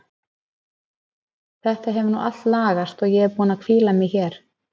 Þetta hefur nú allt lagast og ég er búin að hvíla mig hér.